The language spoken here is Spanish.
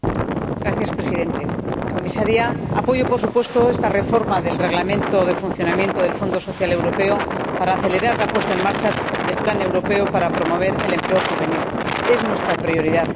Señor Presidente Comisaria, apoyo, por supuesto, esta reforma del Reglamento relativo al Fondo Social Europeo para acelerar la puesta en marcha del plan europeo para promover el empleo juvenil es nuestra prioridad.